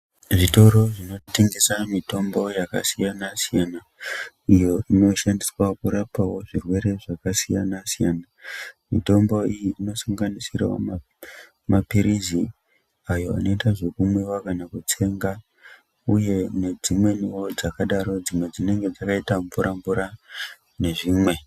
Zvitoro zvinotengesa mitombo yakasiyana siyana iyo inoshandiswawo kurapawo zvirwere zvakasiyana siyana mitombo iyi inosanganisirawo ma mapirizi ayo anoita zvekumwiwa kana kutsenga uye nedzimweniwo dzakadaro dzimwe dzinenge dzakaita mvura mvura nezvimwe.